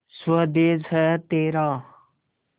स्वदेस है तेरा